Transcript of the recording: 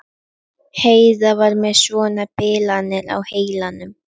Heiða var með svona bilanir á heilanum.